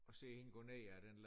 Og se hende gå ned af den